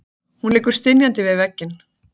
Hún liggur stynjandi við vegginn.